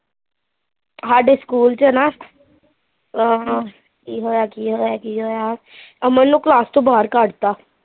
ਹਾਡੇ ਸਕੂਲ ਚ ਨਾ ਅਹ, ਕੀ ਹੋਇਆ, ਕੀ ਹੋਇਆ, ਅਮਨ ਨੂੰ ਕਲਾਸ ਤੋਂ ਬਾਹਰ ਕੱਡਤਾ